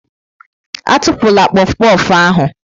Atụpụla kpof kpof ahụ!